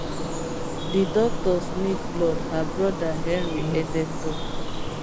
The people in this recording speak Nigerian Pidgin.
di doctors need blood her broda henry edeh tok